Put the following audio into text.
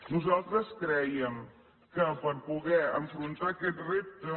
nosaltres crèiem que per poder enfrontar aquest repte